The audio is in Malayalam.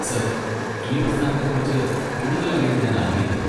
സർ, ഈ പ്രസ്ഥാനത്തെക്കുറിച്ച് കൂടുതൽ അറിയാൻ ഞാൻ ആഗ്രഹിക്കുന്നു.